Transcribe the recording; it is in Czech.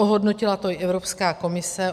Ohodnotila to i Evropská komise.